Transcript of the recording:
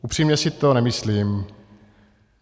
Upřímně si to nemyslím.